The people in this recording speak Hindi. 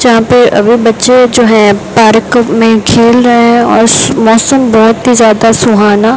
यहां पे अभी बच्चे जो हैं पार्क में खेल रहे हैं और मौसम बहुत ही ज्यादा सुहाना --